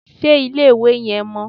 Ṣé ilé-ìwẹ̀ yẹn mọ́?